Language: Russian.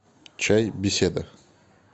чай беседа